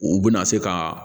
U bɛna se ka